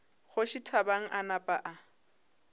kgoši thabang a napa a